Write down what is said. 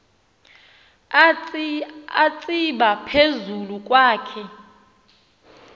atsiba phezu kwakhe